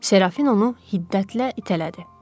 Serafin onu hiddətlə itələdi.